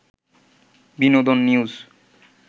বিনোদন নিউজ